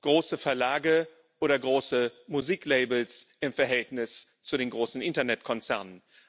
große Verlage oder große Musiklabels im Verhältnis zu den großen Internetkonzernen.